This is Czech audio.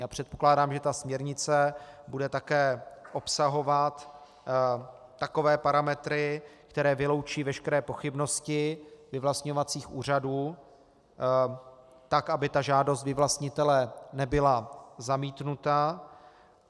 Já předpokládám, že ta směrnice bude také obsahovat takové parametry, které vyloučí veškeré pochybnosti vyvlastňovacích úřadů tak, aby ta žádost vyvlastnitele nebyla zamítnuta.